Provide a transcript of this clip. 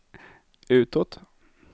utåt